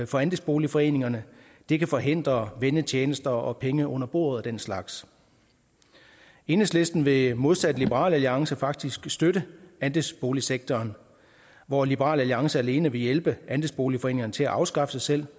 for andelsboligforeningerne det kan forhindre vennetjenester og penge under bordet og den slags enhedslisten vil modsat liberal alliance faktisk støtte andelsboligsektoren hvor liberal alliance alene vil hjælpe andelsboligforeningerne til at afskaffe sig selv